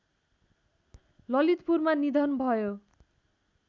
ललितपुरमा निधन भयो